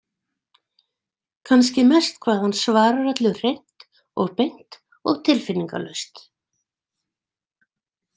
Kannski mest hvað hann svarar öllu hreint og beint og tilfinningalaust.